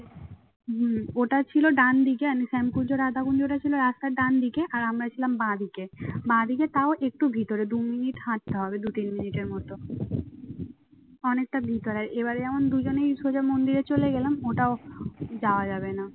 অনেকটা ভিতরে আর এবারে যেমন দুজনেই সোজা মন্দিরে চলে গেলাম ওটাও যাওয়া যাবে না।